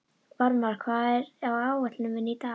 Varmar, hvað er á áætluninni minni í dag?